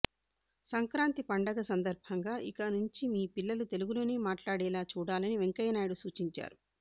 సంక్రాంతి పండగ సందర్భంగా ఇక నుంచి మీ పిల్లలు తెలుగులోనే మాట్లాడేలా చూడాలని వెంకయ్యనాయుడు సూచించారు